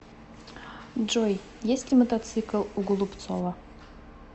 джой есть ли мотоцикл у голубцова